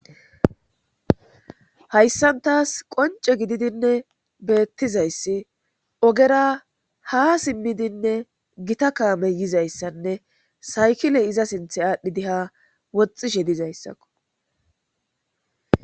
hayssan taas qonce gididinne beettizayssi ogera ha simmidinne gita kaamey yizayssanne saykile iza sinthe aadhdhidi ha woxxishe dizayssakko